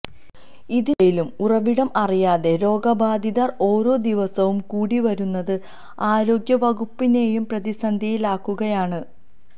ഇതിനിടയിലും ഉറവിടം അറിയാത രോഗബാധിതർ ഓരോ ദിവസവും കൂടി വരുന്നത് ആരോഗ്യവകുപ്പിനെയും പ്രതിസന്ധിയിലാക്കുകയാണ്